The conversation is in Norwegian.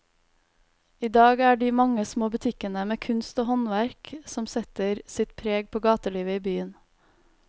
I dag er det de mange små butikkene med kunst og håndverk som setter sitt preg på gatelivet i byen.